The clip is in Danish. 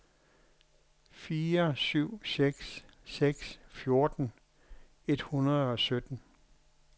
fire syv seks seks fjorten et hundrede og sytten